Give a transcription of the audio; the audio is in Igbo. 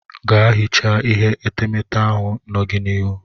Ga hichaa ihe etemete ahụ nọ gị n'ihu.